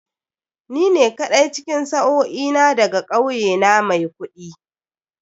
Ni ne kaɗai cikin sa'o'i na da ga kauye na mai kuɗi.